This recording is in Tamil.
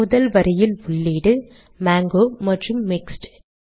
முதல் வரியில் உள்ளீடு மாங்கோ மற்றும் மிக்ஸ்ட்